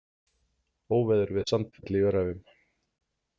Óveður við Sandfell í Öræfum